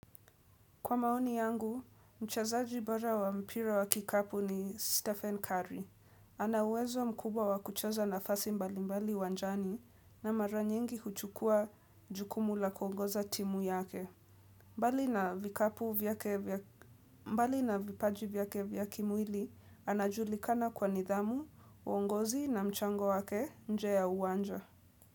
Kwa maoni yangu, mchezaji bora wa mpira wa kikapu ni Stephen Curry. Ana uwezo mkubwa wa kucheza nafasi mbalimbali uwanjani na mara nyingi huchukua jukumu la kuongoza timu yake. Mbali na vipaji vyake vya kimwili, anajulikana kwa nidhamu, uongozi na mchango wake nje ya uwanja.